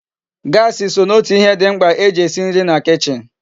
Gasi so n'otu ihe di mkpa eji esi nri na kichin